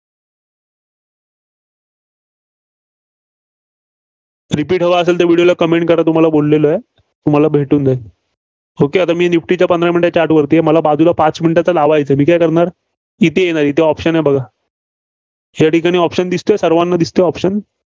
repeat हवं असलं तर Comment करा तुम्हाला बोलेलो आहे. तुम्हाला भेटून जाईल. Okya आता मी निफ्टीच्या पंधरा minute चा Chart वरती आहे, बाजूला पाच minute चा लावायचं, तर मी काय करणार, इथे येणार. इथे option आहे बघा. या ठिकाणी option दिसतोय सर्वांना दिसतोय option